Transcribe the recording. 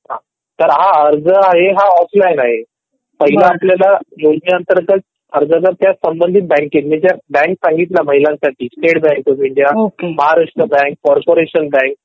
तर हा अर्ज आहे हा ऑफलाईन आहे ह्या योजने अंतर्गत अर्जदार च्या संबंधित बँकेत म्हणजे ज्या बँक सांगितल्या महिलांसाठी state bank of India, Maharashtra bank , corporation bank